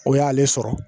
O y'ale sɔrɔ